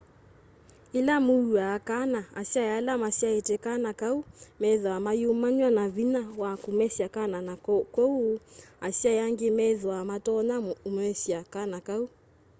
ila muua kana asyai ala masyaite kana kau methwaa mayumanwa na vinya wa kumesya kana na kwoou asyai angi methwaa matonya umesya kana kau